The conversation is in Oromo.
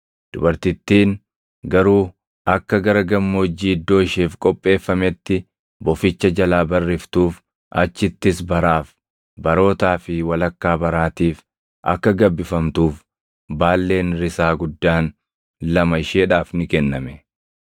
Dubartittiin garuu akka gara gammoojjii iddoo isheef qopheeffametti boficha jalaa barriftuuf, achittis baraaf, barootaa fi walakkaa baraatiif akka gabbifamtuuf baalleen risaa guddaan lama isheedhaaf ni kenname.